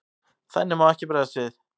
Þannig má ekki bregðast við.